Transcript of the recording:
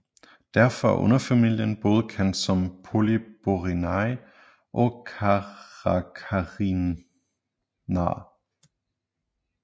Derfor er underfamilien både kendt som Polyborinae og Caracarinae